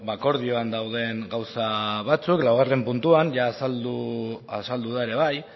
akordioan dauden gauza batzuk laugarren puntuan azaldu da ere bai